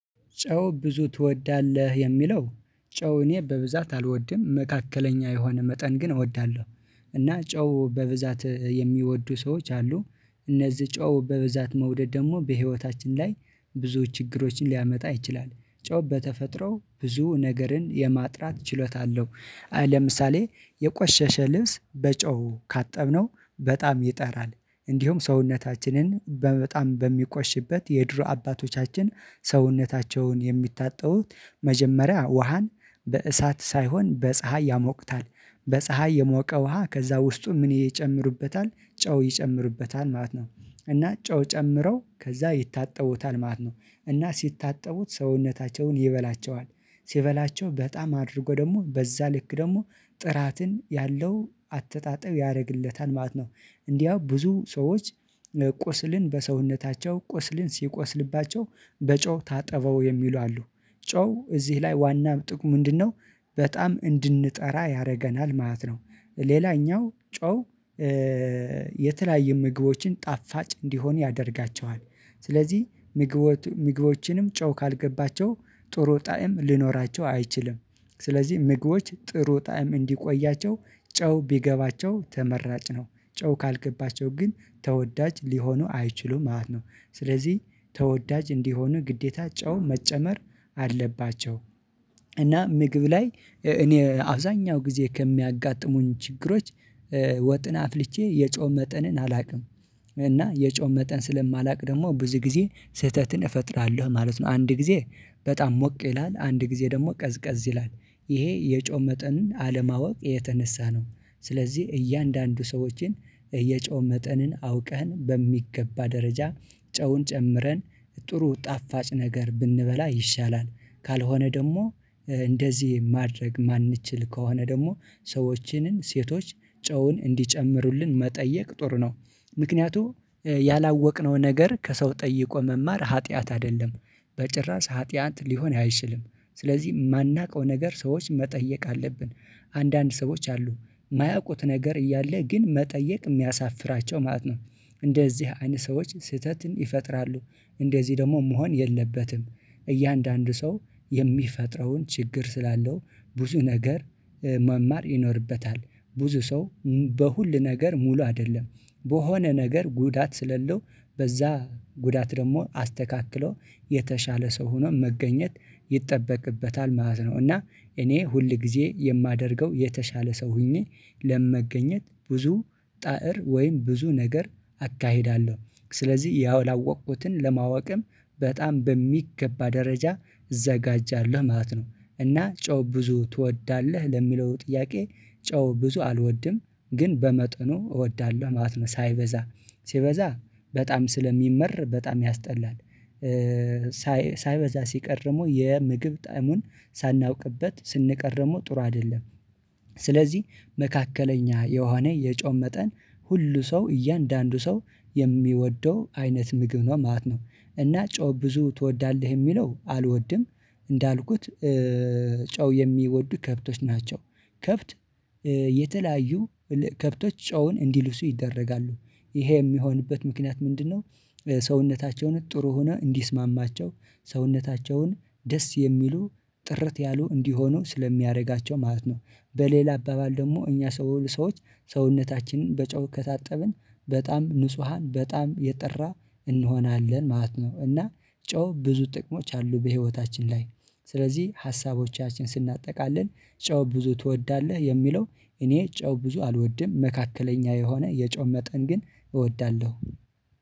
ጨው ብዙ ትወዳለህ? የሚለው ጨው እኔ በብዛት አልወድም መካከለኛ የሆነ መጠን ግን እወዳለሁ። እና ጨው በብዛት የሚወዱ ሰዎች አሉ። እነዚህ ጨው በብዛት መውደድ ደግሞ በህይወታችን ላይ ብዙ ችግሮችን ሊያመጣ ይችላል። ጮህ በተፈጥሮ ብዙ ነገርን የማጥራት ችሎታ አለው። ለምሳሌ የቆሸሸ ልብስ በጨው ካጠብነው በጣም ይጠራል። እንዲሁም ሰውነታችንን በጣም በሚቆሽበት የድሮ አባቶቻችን ሰውነታቸውን የሚታጠቡት መጀመሪያ ውሃን በእሳት ሳይሆን በፀሀይ ያሞቅታል በፀሀይ የሞቀ ውሃ ከዛ ውስጡ ምን ይጨምሩበታል ጨው ይጨምሩበታል ማለት ነው። እና ጨው ጨምረው ከዛ ይታጠቡታል ማለት ነው። እና ሲታጠቡት ሰውነታቸውን ይበላቸዋል ሲበላቸው በጣም አድርጎ ደግሞ በዛ ልክ ደግሞ ጥራትን ያለው አተጣጠብ ያደርግለታል ማለት ነው። እንዲያው ብዙ ሰዎች ቁስልን በሰውነታቸው ቁስልን ሲቆስልባቸው በጨው ታጠበው የሚሉ አሉ። ጮህ እዚህ ላይ ዋና ጥቅሙ ምንድነው? በጣም እንድንጠራ ያደርገናል ማለት ነው። ሌላኛው ጮህ የተለያየ ምግቦችን ጣፋጭ እንዲሆን ያደርጋቸዋል። ስለዚህ ምግቦችን ምግቦችንም ጨው ካልገባቸው ጥሩ ጣዕም ሊኖራቸው አይችልም። ስለዚህ ምግቦች ጥሩ ጣዕም እንዲቆያቸው ጨው ቢገባቸው ተመራጭ ነው። ጨው ካልገባቸው ግን ተወዳጅ ሊሆኑ አይችሉም ማለት ነው። ስለዚህ ተወዳጅ እንዲሆኑ ግዴታ ጨው መጨመር አለባቸው። እና ምግብ ላይ እኔ አብዛኛው ጊዜ ከሚያጋጥሙኝ ችግሮች ወጥን አፍልቼ የጨው መጠንን አላውቅም። እና የጨው መጠን ስለማላውቅ ደግሞ ብዙ ጊዜ ስህተትን እፈጥራለሁ ማለት ነው። አንድ ጊዜ በጣም ሞቅ ይላል አንድ ጊዜ ደግሞ ቀዝቀዝ ይላል። ይሄ የጮው መጠንን አለማወቅ የተነሳ ነው። ስለዚህ እያንዳንዱ ሰዎችን የጨው መጠንን አውቀህን በሚገባ ደረጃ ጨውን ጨምረን ጥሩ ጣፋጭ ነገር ብንበላ ይሻላል። ካልሆነ ደግሞ እንደዚህ ማድረግ የማንችል ከሆነ ደግሞ ሰዎችንን ሴቶች ጨውን እንዲጨምሩልን መጠየቅ ጥሩ ነው። ምክንያቱም ያላወቅነው ነገር ከሰው ጠይቆ መማር ኃጢአት አይደለም በጭራሽ ኃጢአት ሊሆን አይችልም። ስለዚህ የማናውቀው ነገር ሰዎች መጠየቅ አለብን። አንዳንድ ሰዎች አሉ የማያውቁት ነገር እያለ ግን መጠየቅ የሚያሳፍራቸው ማለት ነው። እንደዚህ አይነት ሰዎች ስህተትን ይፈጥራሉ። እንደዚህ ደግሞ መሆን የለበትም። እያንዳንዱ ሰው የሚፈጥረውን ችግር ስላለው ብዙ ነገር መማር ይኖርበታል። ብዙ ሰው በሁሉ ነገር ሙሉ አይደለም። በሆነ ነገር ጉዳት ስለለው በዛ ጉዳት ደግሞ አስተካክሎ የተሻለ ሰው ሆኖ መገኘት ይጠበቅበታል ማለት ነው። እና እኔ ሁል ጊዜ የማደርገው የተሻለ ሰው ሆኜ ለምን መገኘት ብዙ ጣዕር ወይም ብዙ ነገር አካሂዳለሁ። ስለዚህ ያወላወቅኩትን ለማወቅም በጣም በሚገባ ደረጃ እዘጋጃለሁ ማለት ነው። እና ጨው ብዙ ትወዳለህ ለሚለው ጥያቄ ጨው ብዙ አልወድም። ግን በመጠኑ እወዳለሁ ማለት ነው ሳይበዛ ሲበዛ በጣም ስለሚመር በጣም ያስጠላል። ሳይበዛ ሲቀርሙ የምግብ ጣዕሙን ሳናውቅበት ስንቀርደሙ ጥሩ አይደለም። ስለዚህ መካከለኛ የሆነ የጮም መጠን ሁሉ ሰው እያንዳንዱ ሰው የሚወደው አይነት ምግብ ነው ማለት ነው። እና ጮህ ብዙ ትወዳለህ የሚለው አልወድም። እንዳልኩት ጨው የሚወዱ ከብቶች ናቸው። ከብት የተለያዩ ከብቶች ጨውን እንዲልሱ ይደረጋሉ። ይሄ የሚሆንበት ምክንያት ምንድነው? ሰውነታቸውን ጥሩ ሆነ እንዲስማማቸው ሰውነታቸውን ደስ የሚሉ ጥረት ያሉ እንዲሆኑ ስለሚያደርጋቸው ማለት ነው። በሌላ አባባል ደግሞ እኛ ሰው ሰዎች ሰውነታችንን በጨው ከታጠብን በጣም ንጹሃን በጣም የጠራ እንሆናለን ማለት ነው። እና ጨው ብዙ ጥቅሞች አሉ በህይወታችን ላይ። ስለዚህ ሀሳቦቻችን ስናጠቃልል ጨው ብዙ ትወዳለህ የሚለው እኔ ጨው ብዙ አልወድም መካከለኛ የሆነ የጨው መጠን ግን እወዳለሁ